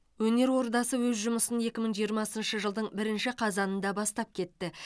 өнер ордасы өз жұмысын екі мың жиырмасыншы жылдың бірінші қазанында бастап кетті